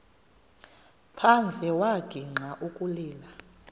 phandle wagixa ukulila